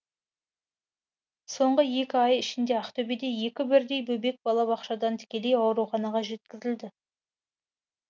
соңғы екі ай ішінде ақтөбеде екі бірдей бөбек балабақшадан тікелей ауруханаға жеткізілді